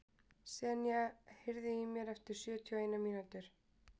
Senía, heyrðu í mér eftir sjötíu og eina mínútur.